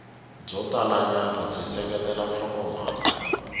byo talanyana byi seketela nhlokomhaka